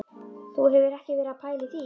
Þú hefur ekki verið að pæla í því?